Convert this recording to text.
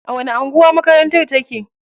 A wani anguwa makarantar take?